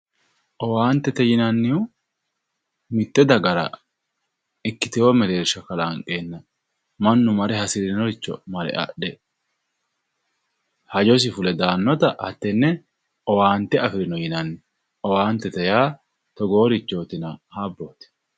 Owaantete yinnannihu mite dagara ikkitewo mereersho kalanqenna mannu marre hasirinoricho adhe hajjosi fulle daanotta hattene owaante affirino yineemmo, owaantete yaa togoorichotinna habboti.